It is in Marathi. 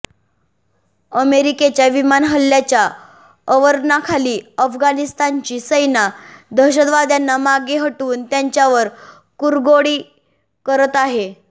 अमेरिकेच्या विमान हल्ल्यांच्या अवरणाखाली अफगाणिस्तानची सेना दहशतवाद्यांना मागे हटवून त्यांच्यावर कुरगोडी करत आहे